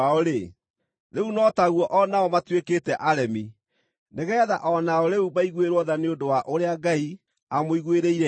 rĩu no taguo o nao matuĩkĩte aremi, nĩgeetha o nao rĩu maiguĩrwo tha nĩ ũndũ wa ũrĩa Ngai amũiguĩrĩire tha.